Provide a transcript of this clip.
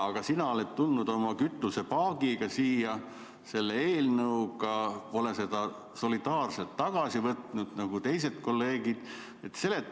Aga sina oled tulnud oma kütusepaagieelnõuga siia, pole seda solidaarselt nagu teised kolleegid tagasi võtnud.